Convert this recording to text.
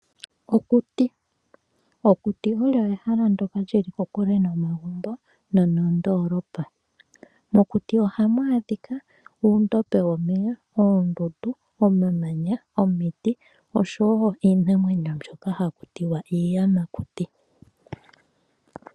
Okuti Okuti olyo ehala ndoka lyili kokule nomagumbo no nondoolopa. Mokuti ohamu adhika uundombe womeya, oondundu, omamanya ,omiti oshowo iinamwenyo mbyoka haku tiwa iiyamakuti.